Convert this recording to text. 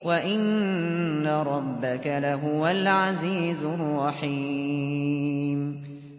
وَإِنَّ رَبَّكَ لَهُوَ الْعَزِيزُ الرَّحِيمُ